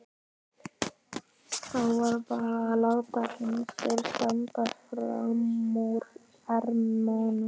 Þá var bara að láta hendur standa frammúr ermum.